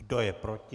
Kdo je proti?